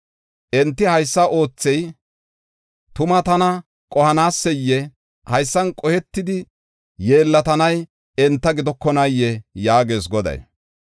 Enti haysa oothey tuma tana qohanaaseyee? Haysan qohetidi yeellatanay enta gidokonaayee?” yaagees Goday.